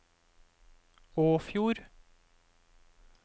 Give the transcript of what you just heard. Åfjord